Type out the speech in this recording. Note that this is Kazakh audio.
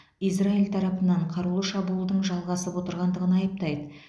израиль тарапынан қарулы шабуылдың жалғасып отырғандығын айыптайды